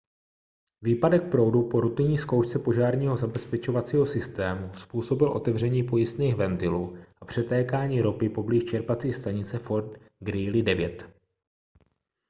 výpadek proudu po rutinní zkoušce požárního zabezpečovacího systému způsobil otevření pojistných ventilů a přetékání ropy poblíž čerpací stanice fort greely 9